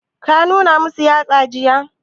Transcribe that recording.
Ka nuna masu yatsa jiya?